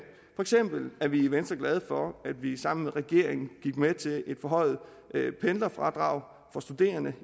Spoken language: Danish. eksempel er vi i venstre glade for at vi sammen med regeringen gik med til et forhøjet pendlerfradrag